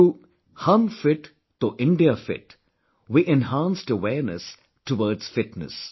Through 'Hum Fit toh India Fit', we enhanced awareness, towards fitness